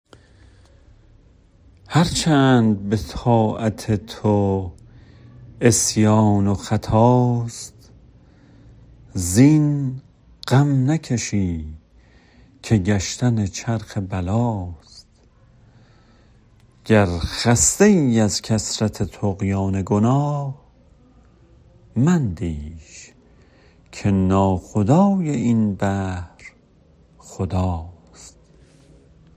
هرچند به طاعت تو عصیان و خطاست زین غم نکشی که گشتن چرخ بلاست گر خسته ای از کثرت طغیان گناه مندیش که ناخدای این بحر خداست